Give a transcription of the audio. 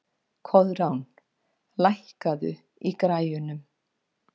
Koðrán, lækkaðu í græjunum.